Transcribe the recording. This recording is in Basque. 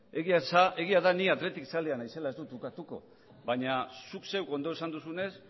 egia da ni athletic zalea naizela ez dut ukatuko baina zuk zeuk ondo esan duzunez